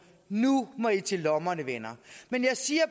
nu må i til lommerne venner jeg siger